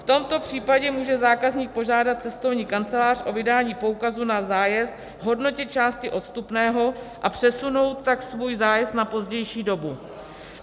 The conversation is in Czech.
V tomto případě může zákazník požádat cestovní kancelář o vydání poukazu na zájezd v hodnotě části odstupného, a přesunout tak svůj zájezd na pozdější dobu.